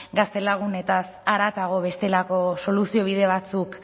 gaztelagunetaz haratago bestelako soluziobide batzuk